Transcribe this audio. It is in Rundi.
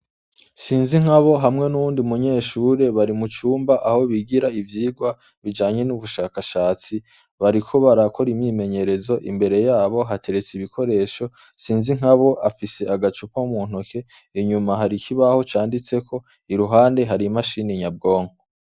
Sinzi nkabo hamwe n'uwundi munyeshure bari mucumba aho bigira ivyirwa bijanye n'ubushakashatsi, bariko barakora imimenyerezo imbere yabo hateretse ibikoresho sinzi nkabo afise agacupa muntoke inyuma hari ikibaho canditseko i ruhande hari mashini nyabwonko.